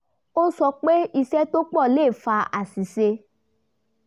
ó sọ pé iṣẹ́ tó pọ̀ le fa aṣìṣe